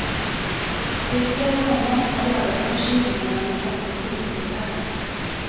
Det är fler med honom som har drabbats av förkylningar bland de svenska skidskytteherrarna.